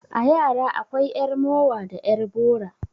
A yara akwai 'yar mowa da 'yar bora.